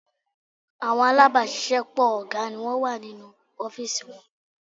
Àwọn alábàáṣiṣẹ́pọ̀ ọ̀gá ni wọ́n wà nínú ọ́fìsì wọn